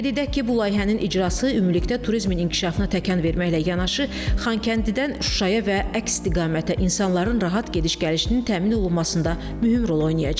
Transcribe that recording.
Qeyd edək ki, bu layihənin icrası ümumilikdə turizmin inkişafına təkan verməklə yanaşı, Xankəndidən Şuşaya və əks istiqamətə insanların rahat gediş-gəlişinin təmin olunmasında mühüm rol oynayacaq.